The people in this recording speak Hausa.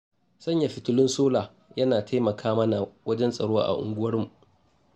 Sanya fitulun sola yana taimaka mana wajen tsaro a unguwarmu.